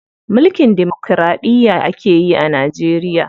Mulkin demokiraɗiya akeyi a Najeriya.